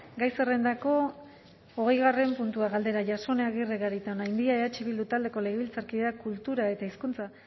gai zerrendako hogeigarren puntua galdera jasone agirre garitaonandia eh bildu taldeko legebiltzarkideak kultura eta hizkuntza